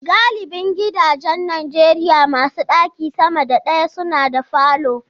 Galibin gidajen Najeriya masu ɗaki sama da daya suna da falo.